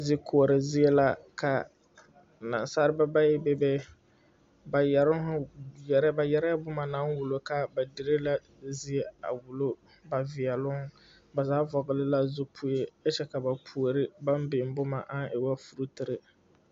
Zikoɔre zie la ka naasalba bayi bebe ba yɛroŋ ba yɛrɛɛ boma naŋ wullo ka ba dire la zie a wullo ba veɛloŋ ba vɔgle la zupile kyɛ ka ba puore baŋ biŋ boma aŋ e woo fruutire.